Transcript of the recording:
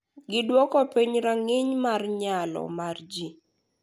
Gidwoko piny rang’iny mar nyalo mar ji.